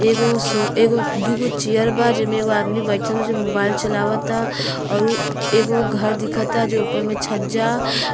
एगो सो एगो दूगो चेयर बा जेमे एगो आदमी बैठल जो मोबाइल चलावता औरु एगो घर दिखता जो ऊपर में छज्जा --